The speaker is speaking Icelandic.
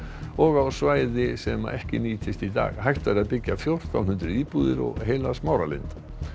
og á svæði sem ekki nýtist í dag hægt væri að byggja fjórtán hundruð íbúðir og eina Smáralind